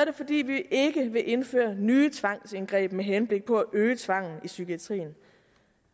er det fordi vi ikke vil indføre nye tvangsindgreb med henblik på at øge tvangen i psykiatrien